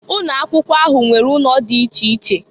Ụnọ akwụkwọ ahụ nwere ụnọ dị dị iche iche.